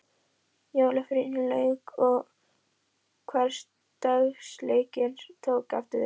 Jólafríinu lauk og hversdagsleikinn tók aftur við.